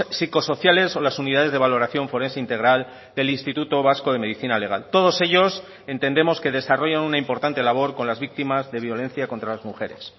psicosociales o las unidades de valoración forense integral del instituto vasco de medicina legal todos ellos entendemos que desarrollan una importante labor con las víctimas de violencia contra las mujeres